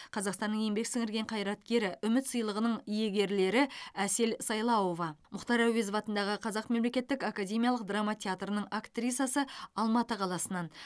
қазақстанның еңбек сіңірген қайраткері үміт сыйлығының иегерлері әсел сайлауова мұхтар әуезов атындағы қазақ мемлекеттік академиялық драма театрының актрисасы алматы қаласынан